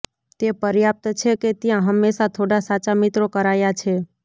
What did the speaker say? તે પર્યાપ્ત છે કે ત્યાં હંમેશા થોડા સાચા મિત્રો કરાયા છે